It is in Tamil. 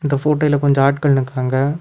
இந்த ஃபோட்டோயில கொஞ்ச ஆட்கள் நிக்கிறாங்க.